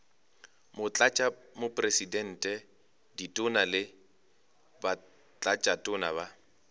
motlatšamopresidente ditona le batlatšatona ba